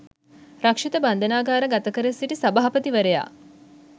රක්‍ෂිත බන්ධනාගාර ගතකර සිටි සභාපතිවරයා